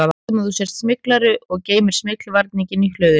Við höldum að þú sért smyglari og geymir smyglvarninginn í hlöðunni